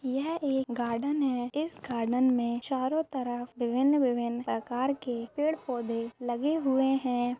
यह एक गार्डन है इस गार्डन में चारों तरफ विभिन्न विभिन्न प्रकार के पेड़ पौधे लगे हुए है।